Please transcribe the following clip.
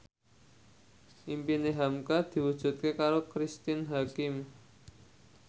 impine hamka diwujudke karo Cristine Hakim